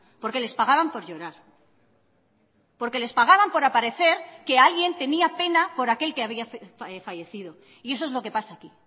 porque les pagaban por llorar porque les pagaban por aparecer que alguien tenía pena por aquel que había fallecido y eso es lo que pasa aquí